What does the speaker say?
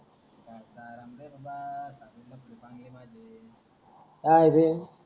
काय रे